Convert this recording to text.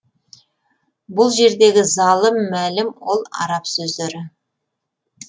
бұл жердегі залым мәлім ол араб сөздері